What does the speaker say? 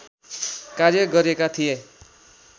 कार्य गरेका थिए